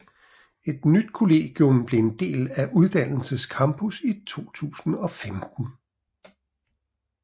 Et nyt kollegium blev en del af uddannelses campus i 2015